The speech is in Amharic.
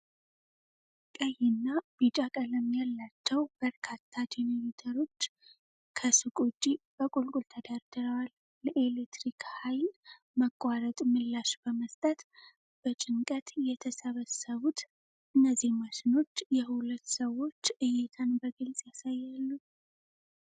ቀይና ቢጫ ቀለም ያላቸው በርካታ ጄኔሬተሮች ከሱቅ ውጪ በቁልል ተደርድረዋል። ለኤሌክትሪክ ኃይል መቋረጥ ምላሽ በመስጠት በጭንቀት የተሰበሰቡት እነዚህ ማሽኖች የሁለት ሰዎች እይታን በግልጽ ይገዛሉ።